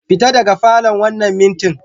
Fita daga falon wannan mintin!